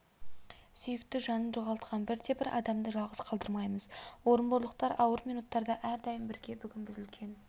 сүйікті жанын жоғалтқан бірде-бір адамды жалғыз қалдырмаймыз орынборлықтар ауыр минуттарда әрдайым бірге бүгін біз үлкен